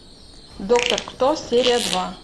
доктор кто серия два